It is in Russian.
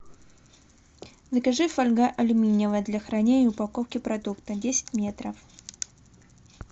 закажи фольга алюминиевая для хранения и упаковки продуктов десять метров